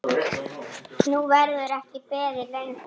Nú verður ekki beðið lengur.